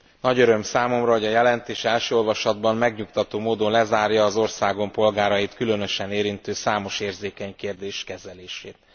Nagy öröm számomra, hogy a jelentés első olvasatban megnyugtató módon lezárja az országom polgárait különösen érintő számos érzékeny kérdések kezelését.